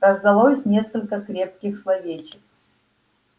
раздалось несколько крепких словечек